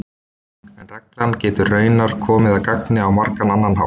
En reglan getur raunar komið að gagni á margan annan hátt.